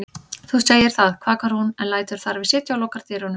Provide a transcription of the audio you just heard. Þú segir það, kvakar hún en lætur þar við sitja og lokar dyrunum.